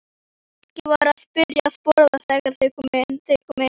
Fólkið var byrjað að borða þegar þeir komu inn.